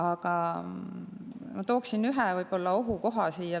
Aga ma toon siin veel ühe ohukoha.